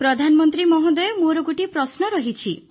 ପ୍ରଧାନମନ୍ତ୍ରୀ ମହୋଦୟ ମୋର ଗୋଟିଏ ପ୍ରଶ୍ନ ରହିଛି